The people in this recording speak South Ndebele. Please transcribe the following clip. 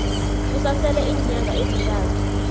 kusasele iinyanga ezintathu